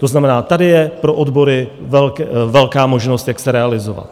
To znamená, tady je pro odbory velká možnost, jak se realizovat.